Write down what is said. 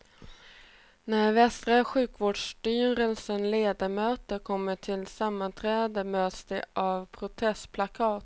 När västra sjukvårdsstyrelsens ledamöter kom till sammanträdet möttes de av protestplakat.